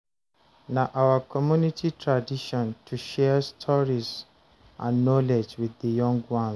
Na our community tradition to share stories and knowledge wit di young ones.